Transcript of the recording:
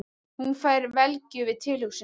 Hún fær velgju við tilhugsunina.